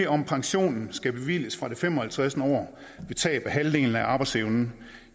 om pensionen skal bevilges fra det fem og halvtreds år ved tab af halvdelen af arbejdsevnen